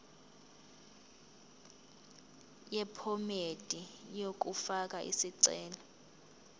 yephomedi yokufaka isicelo